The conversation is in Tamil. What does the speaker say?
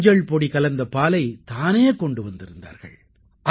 மஞ்சள் பொடி கலந்த பாலைத் தானே கொண்டு வந்திருந்தார்கள்